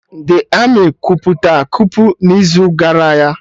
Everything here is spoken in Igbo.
The Armị kwupụta kupu n'izu gara y